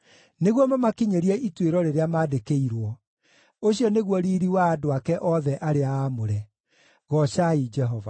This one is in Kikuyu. nĩguo mamakinyĩrie ituĩro rĩrĩa mandĩkĩirwo. Ũcio nĩguo riiri wa andũ ake othe arĩa aamũre. Goocai Jehova.